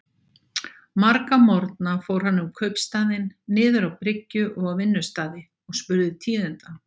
Marga morgna fór hann um kaupstaðinn, niður á bryggju og á vinnustaði, og spurði tíðinda.